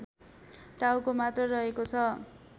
टाउको मात्र रहेको छ